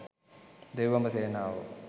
දෙව් බඹ සේනාවෝ